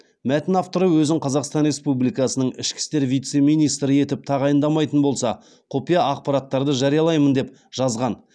мәтін авторы өзін қазақстан республикасының ішкі істер вице министрі етіп тағайындамайтын болса құпия ақпараттарды жариялаймын деп жазған